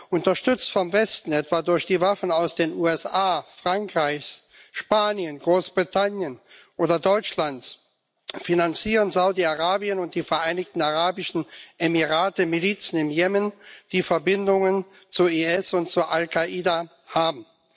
Unterstützt vom Westen, etwa durch die Waffen aus den USA, Frankreich, Spanien, Großbritannien oder Deutschland finanzieren Saudi Arabien und die Vereinigten Arabischen Emirate Milizen im Jemen, die Verbindungen zum IS und zu Al Kaida haben.